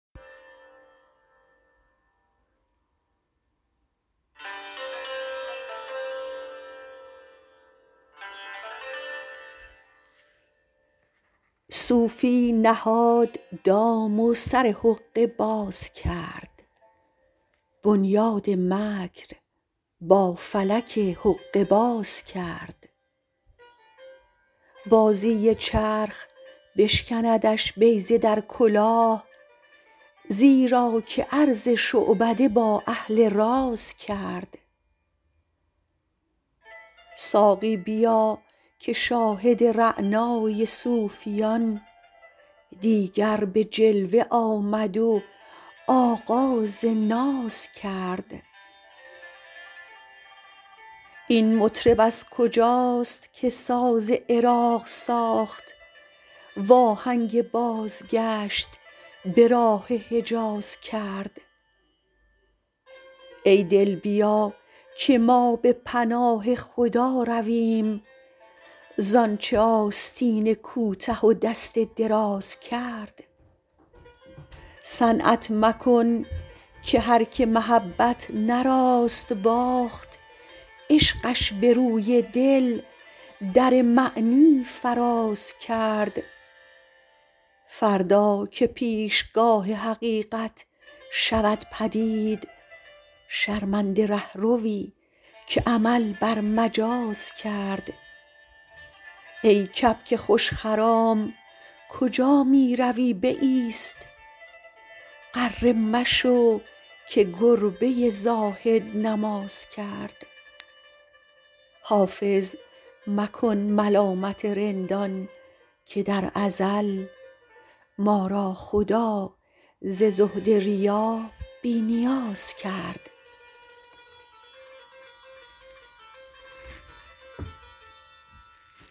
صوفی نهاد دام و سر حقه باز کرد بنیاد مکر با فلک حقه باز کرد بازی چرخ بشکندش بیضه در کلاه زیرا که عرض شعبده با اهل راز کرد ساقی بیا که شاهد رعنای صوفیان دیگر به جلوه آمد و آغاز ناز کرد این مطرب از کجاست که ساز عراق ساخت وآهنگ بازگشت به راه حجاز کرد ای دل بیا که ما به پناه خدا رویم زآنچ آستین کوته و دست دراز کرد صنعت مکن که هرکه محبت نه راست باخت عشقش به روی دل در معنی فراز کرد فردا که پیشگاه حقیقت شود پدید شرمنده رهروی که عمل بر مجاز کرد ای کبک خوش خرام کجا می روی بایست غره مشو که گربه زاهد نماز کرد حافظ مکن ملامت رندان که در ازل ما را خدا ز زهد ریا بی نیاز کرد